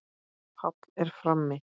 Páll er frammi.